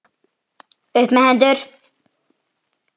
Upp með hendur!